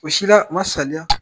O si la , n ma saliya !